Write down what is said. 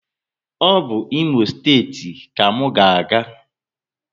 O bu Imo steeti ka mụ na aga